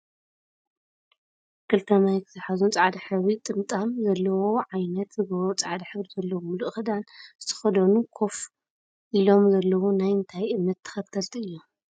ክልተ ማይክ ዝሓዙን ፃዕዳ ሕብሪ ጥምጣም ዘለዎ ዓይነት ዝገበሩ ፃዕዳ ሕብሪ ዘለዎም ሙሉእ ክዳን ዝተከደኑ ከፍ ኢሎም ዘለው ናይ እንታይ እምነት ተከተልቲ እዮም?